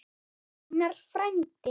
Einar frændi.